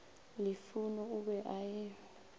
lufhuno o be a e